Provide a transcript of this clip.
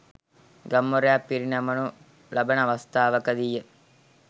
ගම්වරයක් පිරිනමනු ලබන අවස්ථාවකදීය.